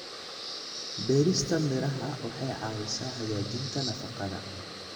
Beerista miraha waxay caawisaa hagaajinta nafaqada.